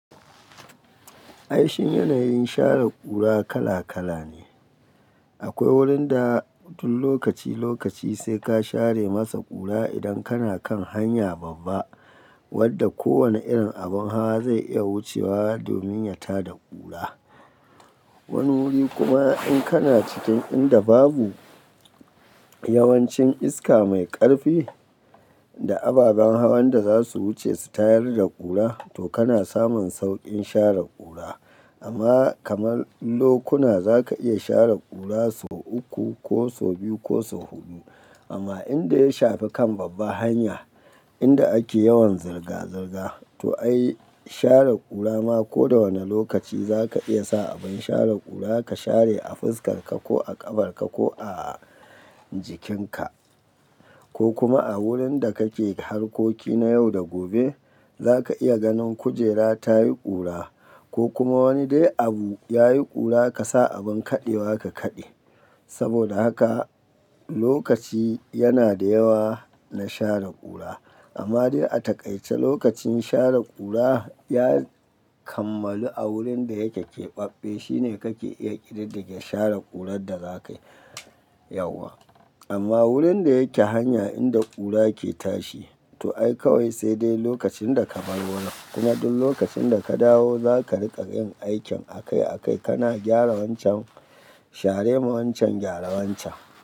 Aishi yanayin share ƙura kala-kala ne. Akwai wurin da duk lokaci-lokaci sai ka share masa ƙura idan kana kan hanya babba wadda kowane irin abin hawa zai iya wucewa domin ya tada ƙura. Wani wuri kuma in kana cikin inda babu yawancin iska mai ƙarfi da ababen hawan da za su wuce su tayar da ƙura to kana samun sauƙin share ƙura. Amma kamar lokuna za ka iya share ƙura so uku ko so biyu ko so huɗu. Amma inda ya shafi kan babbar hanya inda ake yawan zirga-zirga to ai share ƙura ma ko da wane lokaci za ka iya sa abin share ƙura ka share a fuskarka ko a ƙafarka ko a jikinka ko kuma a wurin da kake harkoki na yau da gobe za ka iya ganin kujera ta yi ƙura ko kuma wani dai abu yayi ƙura ka sa abin kaɗewa ka kaɗe. Saboda haka lokaci yana da yawa na share ƙura. Amma dai a takaice lokacin share ƙura ya kammalu a wurin da yake ƙeɓaɓɓe shine kake iya ƙididdige share ƙurar da za ka yi yauwa. Amma wurin da yake hanya inda ƙura ke tashi to ai kawai sai dai lokacin da ka bar wurin. Kuma duk lokacin da ka dawo za ka riƙa yin aikin akai-akai. Kana gyara wancan share ma wancan gyara wancan.